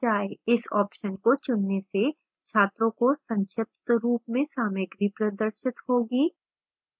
इस option को चुनने से छात्रों को संक्षिप्त रूप में सामग्री प्रदर्शित होगी